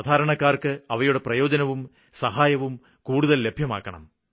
സാധാരണക്കാര്ക്ക് അവയുടെ പ്രയോജനവും സഹായവും കൂടുതല് ലഭ്യമാക്കണം